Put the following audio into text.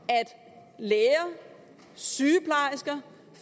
at læger sygeplejersker